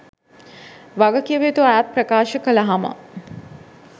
වගකිවයුතු අයත් ප්‍රකාශ කලහම